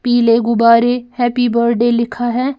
पीले गुबारे happy birthday लिखा है।